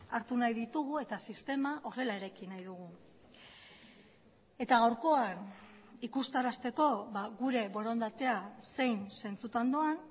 hartu nahi ditugu eta sistema horrela eraiki nahi dugu eta gaurkoan ikustarazteko gure borondatea zein zentsutan doan